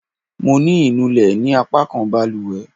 Mo ní inú lè ní apakan baluwe